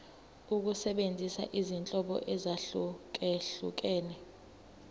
ukusebenzisa izinhlobo ezahlukehlukene